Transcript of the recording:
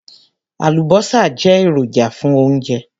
Àlùbọ́sà jẹ́ èròjà fún oúnjẹ.